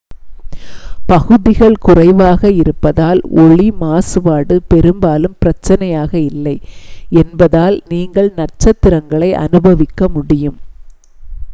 பகுதிகள் குறைவாக இருப்பதால் ஒளி மாசுப்பாடு பெரும்பாலும் பிரச்சனையாக இல்லை என்பதால் நீங்கள் நட்சத்திரங்களை அனுபவிக்க முடியும்